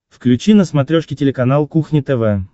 включи на смотрешке телеканал кухня тв